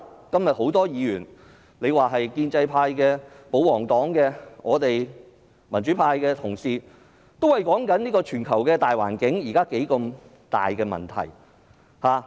今天有多位議員，不論是建制派、保皇黨或我們民主派的同事，也討論現時全球大環境出現的重大問題。